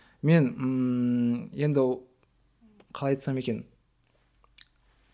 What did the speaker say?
мен ммм енді қалай айтсам екен